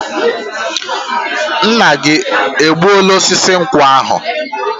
Nna gị egbuoola osisi nkwụ ahụ?